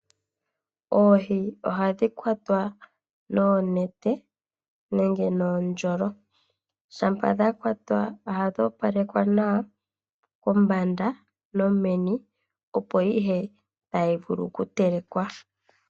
Oohi ohadhi kwatwa noonete nenge nuundjolo. Shampa dha kwatwa ohadhi opalekwa nawa kombanda nomeni, opo ihe tayi vulu okutelekwa.